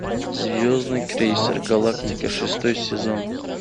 звездный крейсер галактика шестой сезон